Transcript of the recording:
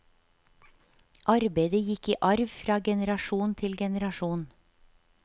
Arbeidet gikk i arv fra generasjon til generasjon.